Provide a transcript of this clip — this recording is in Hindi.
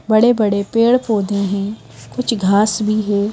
बड़े-बड़े पेड़-पौधे हैं कुछ घास भी है.